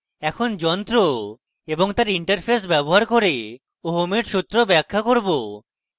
এখন যন্ত্র এবং তার interface ব্যবহার করে ওহমের সূত্র ব্যাখ্যা করব